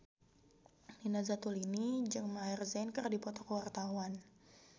Nina Zatulini jeung Maher Zein keur dipoto ku wartawan